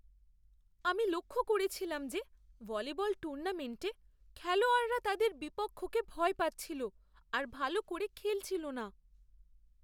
আমি লক্ষ করেছিলাম যে ভলিবল টুর্নামেন্টে খেলোয়াড়রা তাদের বিপক্ষকে ভয় পাচ্ছিল আর ভাল করে খেলছিল না।